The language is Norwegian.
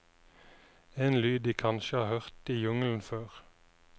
En lyd de kanskje har hørt i jungelen før.